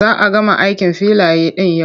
Za a gama aikin filaya ɗin yau.